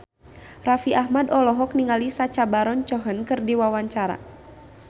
Raffi Ahmad olohok ningali Sacha Baron Cohen keur diwawancara